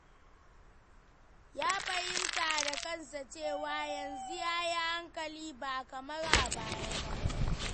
Ya fahimta da kansa cewa, yanzu ya yi hankali ba kamar a baya ba.